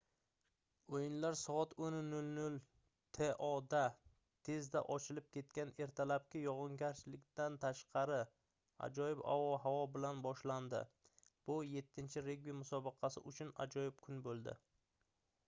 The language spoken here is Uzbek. o'yinlar soat 10:00 to da tezda ochilib ketgan ertalabki yog'ingarchilikdan tashqari ajoyib ob-havo bilan boshlandi bu 7-regbi musobaqasi uchun ajoyib kun bo'ldi